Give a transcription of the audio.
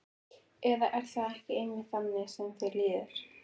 Eða er það ekki einmitt þannig sem þér líður?